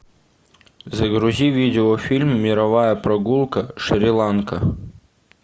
загрузи видео фильм мировая прогулка шри ланка